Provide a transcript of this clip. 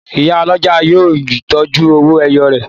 Ìyá ọlọ́jà náà yóò tọ́jú owó-ẹyọ rẹ̀.